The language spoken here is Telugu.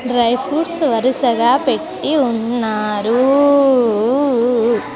డ్రై ఫ్రూప్ట్స్ వరుసగా పెట్టి ఉన్నారు వు వు వు.